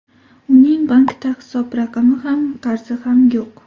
Uning bankda hisob raqami ham, qarzi ham yo‘q.